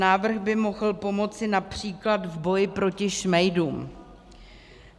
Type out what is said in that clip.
Návrh by mohl pomoci například v boji proti šmejdům.